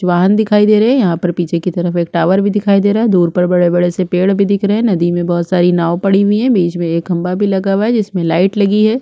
जुवान दिखाई दे रहे है यहाँ पर पीछे की तरफ एक टावर भी दिखाई दे रहा है दूर पर बड़े-बड़े से पेड़ भी दिख रहे है नदी में बहुत सारी नाव पड़ी हुई है बिच में एक खंभा भी लगा हुआ है जिसमे लाइट लगी है |--